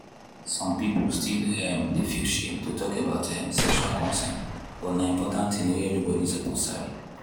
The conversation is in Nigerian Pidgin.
some people still um dey feel shame to talk about um sexual consent but na important thing wey everybody suppose sabi.